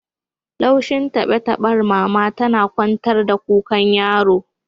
Laushin tabe-taben mama tana kwantar da kukan yaron